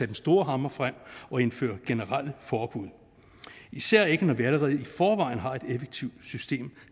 den store hammer frem og indføre generelle forbud især ikke når vi allerede i forvejen har et effektivt system